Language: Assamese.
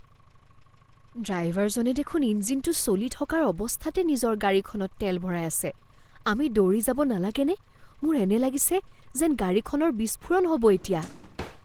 ড্ৰাইভাৰজনে দেখোন ইঞ্জিনটো চলি থকাৰ অৱস্থাতে নিজৰ গাড়ীখনত তেল ভৰাই আছে। আমি দৌৰি যাব নালাগেনে? মোৰ এনে লাগিছে যেন গাড়ীখনৰ বিস্ফোৰণ হ'ব এতিয়া।